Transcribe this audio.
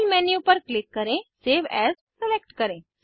file menu पर click करें save as select करें